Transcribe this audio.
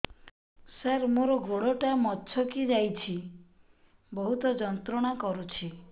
ସାର ମୋର ଗୋଡ ଟା ମଛକି ଯାଇଛି ବହୁତ ଯନ୍ତ୍ରଣା କରୁଛି